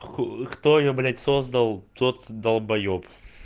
кто её блять создал тот долбаеб